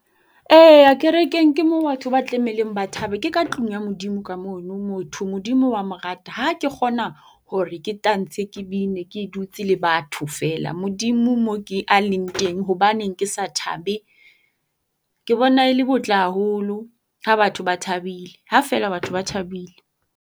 Eya kerekeng, ke mo batho ba tlameileng ba thabe. Ke ka tlung ya Modimo ka mono. Motho Modimo wa mo rata. Ha ke kgona hore ke tantshe ke bine ke dutse le batho feela, Modimo moo ke a leng teng hobaneng ke sa thabe? Ke bona le botle haholo ha batho ba thabile, ha feela batho ba thabile.